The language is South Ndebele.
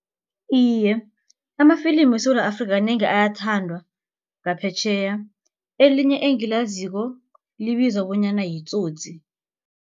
Iye, amafilimu weSewula Afrika kanengi ayathandwa ngaphetjheya elinye engilaziko libizwa bonyana yi-Tsotsi.